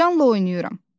Canla oynayıram.